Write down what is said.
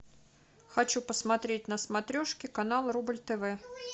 хочу посмотреть на смотрешке канал рубль тв